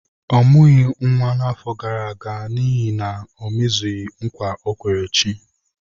Ọ mụghị nwa na-afọ gara aga n’ihi na o mezughị nkwa ọ kwere chi.